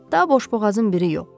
Da boşboğazın biri yox.